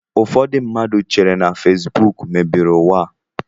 Ụfọdụ mmadụ chere na fesbụụk mebiri ụwa a